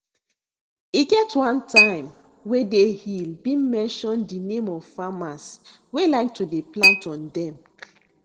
e get one time wey dey hill been mention de name of farmers wey like to dey plant on dem